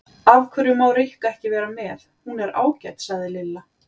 Af hverju má Rikka ekki vera með, hún er ágæt sagði Lilla.